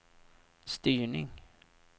styrning